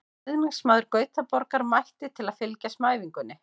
Stuðningsmaður Gautaborgar mætti til að fylgjast með æfingunni.